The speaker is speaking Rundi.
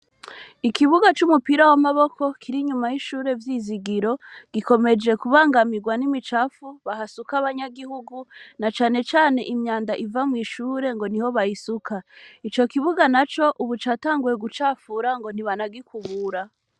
Ikibuga c'umupira w'amaboko kiri nyuma y'ishure vyizigiro gikomeje kubangamirwa n'imicafu bahasuka abanyagihugu na canecane imyanda iva mw'ishure ngo ni ho bayisuka ico kibuga na co, ubu catanguwe gucafura ngo ntibanagikubura.